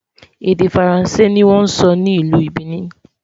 èdè faransé ní wón sò ní ìlú Benin